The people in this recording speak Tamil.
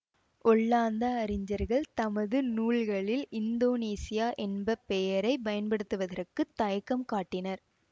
ஒல்லாந்த அறிஞர்கள் தமது நூல்களில் இந்தோனேசியா என்ப பெயரை பயன்படுத்துவதற்குத் தயக்கம் காட்டினர்